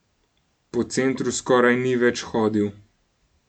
Po centru skoraj ni več hodil.